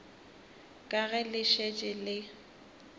ka ge le šetše le